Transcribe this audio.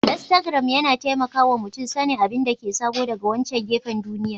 Iastagram yana taimaka wa mutum sanin abin da ke sabo daga wancan gefen duniya